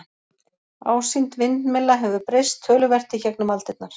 ásýnd vindmylla hefur breyst töluvert í gegnum aldirnar